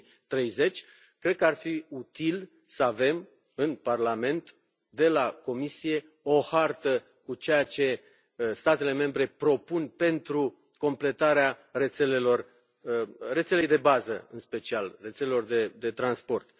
2030. Cred că ar fi util să avem în Parlament, de la Comisie, o hartă cu ceea ce statele membre propun pentru completarea rețelelor, a rețelei de bază, în special, a rețelelor de transport.